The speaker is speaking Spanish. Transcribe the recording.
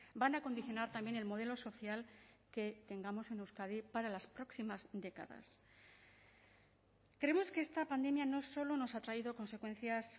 van a condicionar también el modelo social que tengamos en euskadi para las próximas décadas creemos que esta pandemia no solo nos ha traído consecuencias